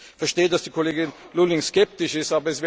Ich verstehe, dass die Kollegin Lulling skeptisch ist.